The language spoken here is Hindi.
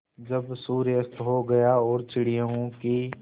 जब सूर्य अस्त हो गया और चिड़ियों की